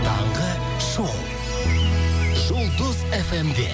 таңғы шоу жұлдыз фмде